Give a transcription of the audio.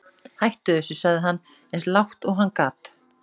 Hættu þessu, sagði hann eins lágt og hann gat.